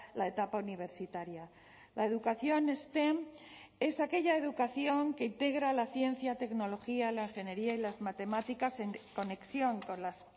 la etapa universitaria la educación stem es aquella educación que integra la ciencia tecnología la ingeniería y las matemáticas en conexión con las